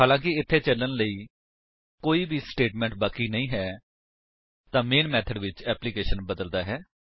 ਹਾਲਾਂਕਿ ਇੱਥੇ ਚੱਲਣ ਲਈ ਕੋਈ ਵੀ ਸਟੇਟਮੇਂਟ ਬਾਕੀ ਨਹੀਂ ਹੈ ਤਾਂ ਮੈਨ ਮੇਥਡ ਵਿੱਚ ਏਪਲਿਕੇਸ਼ਨ ਬਦਲਦਾ ਹੈ